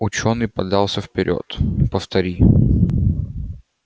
учёный подался вперёд повтори